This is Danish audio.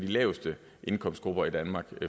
laveste indkomstgrupper i danmark et